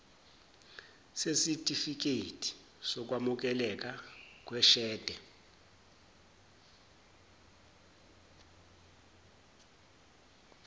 sesitifikedi sokwamukeleka kweshede